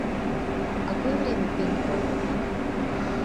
в какое время пейнтбол в отеле